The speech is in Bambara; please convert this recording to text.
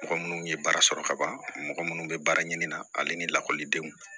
Mɔgɔ minnu ye baara sɔrɔ kaban mɔgɔ minnu bɛ baara ɲini na ale ni lakɔlidenw